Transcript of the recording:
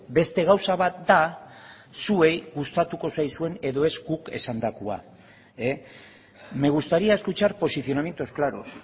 beste gauza bat da zuei gustatuko zaizuen edo ez guk esandakoa me gustaría escuchar posicionamientos claros